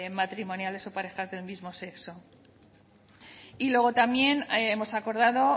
matrimoniales o parejas del mismo sexo y luego también hemos acordado